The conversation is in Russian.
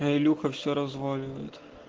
а илюха все разваливает